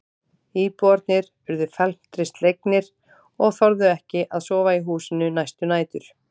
Íbúarnir urðu felmtri slegnir og þorðu ekki að sofa í húsinu næstu nætur.